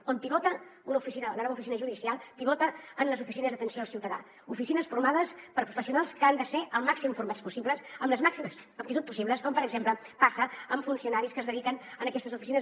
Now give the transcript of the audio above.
on pivota la nova oficina judicial pivota en les oficines d’atenció al ciutadà oficines formades per professionals que han de ser el màxim formats possibles amb les màximes aptitud possibles com per exemple passa amb funcionaris que es dediquen en aquestes oficines